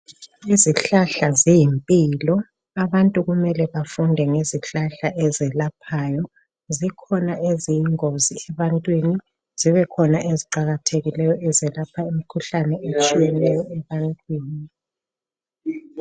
Izihlahla ziyimpilo. Abantu kumele bafunde ngezihlahla ezelaphayo. Zikhona eziyingozi ebantwini, zibekhona eziqakathekileyo ezelapha imikhuhlane etshiyeneyo ebantwini.